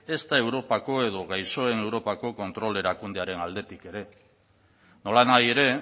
ezta europako edo gaixoen europako kontrol erakundearen aldetik ere nolanahi ere